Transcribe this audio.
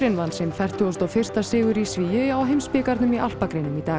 vann sinn fertugasti og fyrsti sigur í svigi á heimsbikarnum í alpagreinum í dag